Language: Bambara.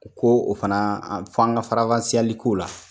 U ko o fana f'an ka faranfasiyali k'o la.